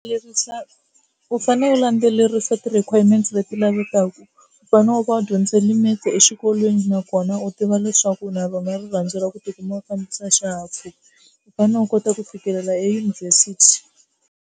Lerisa u fane u landzelerisa ti-requirements leti lavekaka u fanele u va u dyondze limit exikolweni nakona u tiva leswaku na va nga ri landzela ku tikuma u fambisa xihahampfhuka u fanele u kota ku fikelela eyunivhesithi.